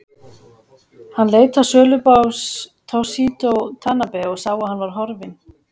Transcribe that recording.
Hann leit á sölubás Toshizo Tanabe og sá að hann var horfinn.